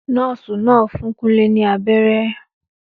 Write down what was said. Nọ́ọ̀sì náà fún Kunle ní abẹ́rẹ́